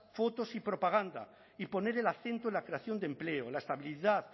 fotos y propaganda y poner el acento en la creación de empleo la estabilidad